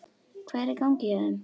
Hvað er í gangi hjá þeim?